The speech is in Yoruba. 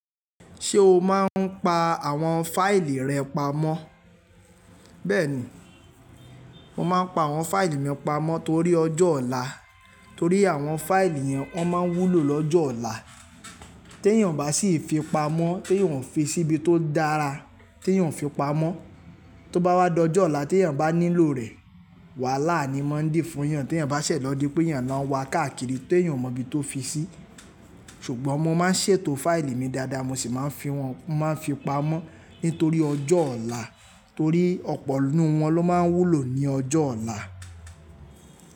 Ṣé o máa ń pa àwọn fáìlì rẹ pamọ́? Bẹ́ẹ̀ni, mo máa ń pa àwọn fáìlì mi pamọ́ torí ọjọ́ ọ̀la, torí àwọn fáìlì yẹn wọ́n máa ń wúlò lọ́jọ́ ọ̀la. Tí èèyàn bá sì fi pamọ́, tí èèyàn ò fi síbi tó dára, tí èèyàn ò fi pamọ́, tó bá wá lọ́jọ́ ọ̀la tí èèyàn bá nílò rẹ̀, wàhálà ni mọ́ ń dì fún èèyàn. Tí èèyàn bá ṣẹ̀ lọ́ di pé èèyàn náà wa káàkiri tí èèyàn ò mọ ibi tó fi sí. Ṣùgbọ́n mo máa ń ṣètò fáìlì mi dáadáa, mo sì máa ń fi wọn, máa ń fi pamọ́ nítorí ọjọ́ ọ̀la, torí ọ̀pọ̀ nínú wọn ló máa ń wúlò ní ọjọ́ ọ̀la.